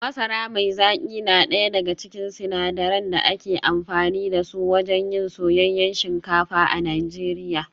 Masara mai zaki na daya daga cikin sinadaran da ake amfani da su wajen yin soyayyen shinkafa a Najeriya